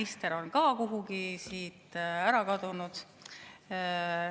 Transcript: Minister on ka kuhugi ära kadunud.